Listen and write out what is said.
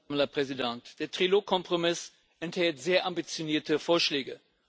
Frau Präsidentin! Der Trilogkompromiss enthält sehr ambitionierte Vorschläge.